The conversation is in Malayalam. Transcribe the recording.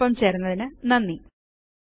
ഞങ്ങളോടൊപ്പം ചേർന്നതിന് നന്ദി